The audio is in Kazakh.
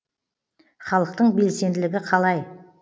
халықтың белсенділігі қалай